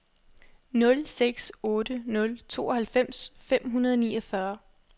nul seks otte nul tooghalvfems fem hundrede og niogfyrre